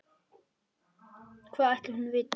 Hvað ætli hún viti?